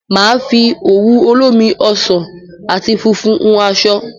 Máa fi òwú olómi ọsàn àti funfun hun aṣọ